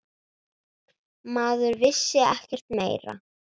Maður vissi ekkert meira.